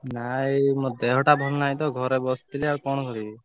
ନା ଦେହ ଟା ଭଲ ନାହି ତ ଘରେ ବସଚି ଆଉ କଣ କରିବି?